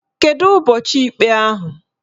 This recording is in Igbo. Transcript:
Kedu ụbọchị ikpe ahụ?